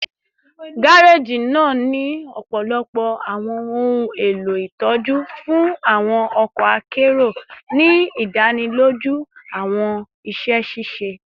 gareji naa ni ọpọlọpọ awọn ohun elo itọju fun awọn ọkọ akero, ni idaniloju awọn iṣẹ ṣiṣe